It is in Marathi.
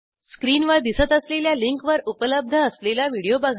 स्क्रीनवर दिसत असलेल्या लिंकवर उपलब्ध असलेला व्हिडिओ बघा